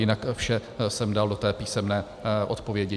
Jinak vše jsem dal do té písemné odpovědi.